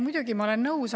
Muidugi, ma olen nõus.